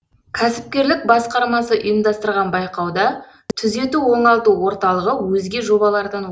кәсіпкерлік басқармасы ұйымдастырған байқауда түзету оңалту орталығы өзге жобалардан